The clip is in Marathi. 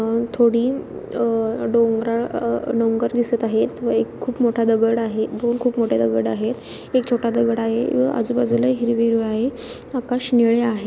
अह थोडी अह डोंगराळ अह डोंगर दिसत आहेत व एक खूप मोठा दगड आहे दोन खूप मोठे दगड आहे एक छोटा दगड आहे व आजुबाजूला हिरव हिरवे आहे आकाश निळे आहे.